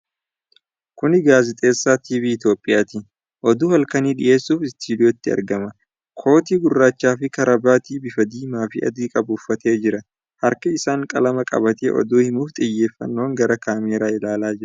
Kuni gaazexeessaa Tiivii Itoophiyaati. Oduu halkanii dhiyeessuuf istiidiyootti argama. Kootii gurraacha fi karabaatii bifa diimaa fi adii qabu uffatee jira. harka isaan qalama qabatee oduu himuuf xiyyeeffannoon gara kaameeraa ilaalaa jira.